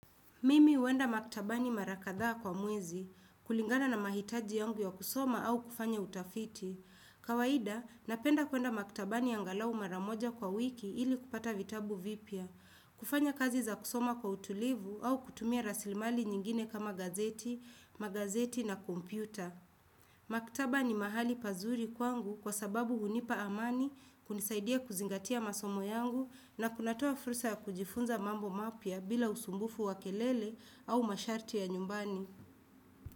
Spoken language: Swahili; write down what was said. Mimi huenda maktabani mara kadhaa kwa mwezi, kulingana na mahitaji yangu ya kusoma au kufanya utafiti. Kawaida, napenda kuenda maktabani angalau mara moja kwa wiki ili kupata vitabu vipya, kufanya kazi za kusoma kwa utulivu au kutumia raslimali nyingine kama gazeti, magazeti na kompyuta. Maktaba ni mahali pazuri kwangu kwa sababu hunipa amani kunisaidia kuzingatia masomo yangu na kunatoa fursa kujifunza mambo mapya bila usumbufu wa kelele au masharti ya nyumbani.